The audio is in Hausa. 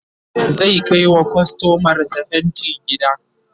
zai Kai wa kustomar sa fainti gida